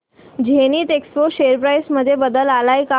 Zenith Expo share price मध्ये बदल आलाय का